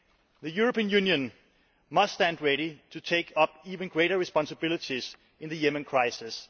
The European Union must stand ready to take up even greater responsibilities in the Yemen crisis.